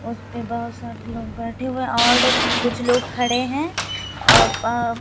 उसमें बहुत सारे लोग बैठे हुए औड और कुछ लोग खड़े हैं और प--